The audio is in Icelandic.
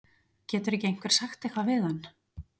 Getur ekki einhver sagt eitthvað við hann?